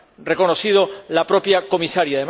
reconocido la propia Comisaria.